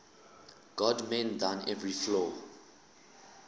god mend thine every flaw